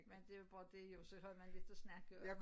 Men det jo bare dét jo så har man lidt at snakke om